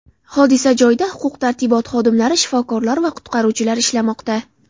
Hodisa joyida huquq-tartibot xodimlari, shifokorlar va qutqaruvchilar ishlamoqda.